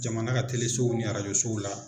Jamana ka telesow ni rajosow la.